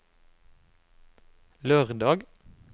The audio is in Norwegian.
lørdag